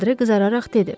Andre qızararaq dedi.